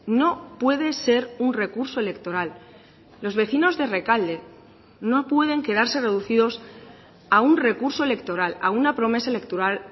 no puede ser un recurso electoral los vecinos de rekalde no pueden quedarse reducidos a un recurso electoral a una promesa electoral